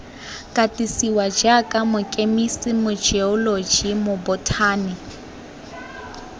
katisiwa jaaka mokemise mojeoloji mobothani